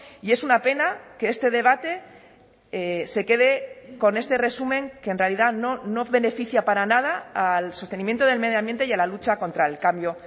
y es una pena que este debate se quede con este resumen que en realidad no beneficia para nada al sostenimiento del medioambiente y a la lucha contra el cambio